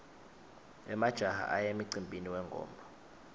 emajaha aya emcimbini wengoma